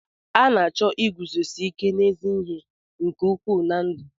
A na-achọ iguzosi ike n'ezi ihe nke ukwuu na ndụ.